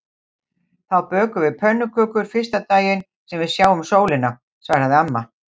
Þá bökum við pönnukökur fyrsta daginn sem við sjáum sólina svaraði amma.